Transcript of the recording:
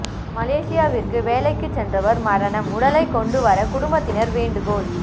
மலேசியாவிற்கு வேலைக்கு சென்றவர் மரணம் உடலை கொண்டு வர குடும்பத்தினர் வேண்டுகோள்